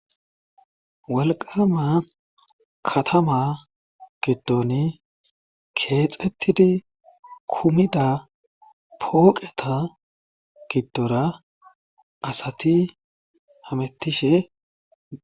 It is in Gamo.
wolqama katama giddoni keexettidi kumida pooqeta giddora asati hamettishe